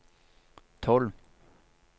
tolv